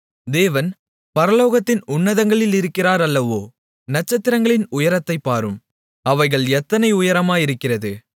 தேவன் பரலோகத்தின் உன்னதங்களிலிருக்கிறார் அல்லவோ நட்சத்திரங்களின் உயரத்தைப் பாரும் அவைகள் எத்தனை உயரமாயிருக்கிறது